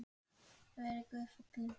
Verið Guði falin.